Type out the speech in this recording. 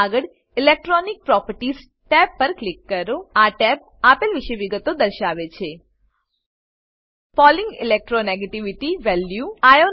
આગળ electronic properties tab પર click કરો આ ટેબ આપેલ વિશે વિગતો દર્શાવે છે પોલિંગ electro નેગેટિવિટી વેલ્યુ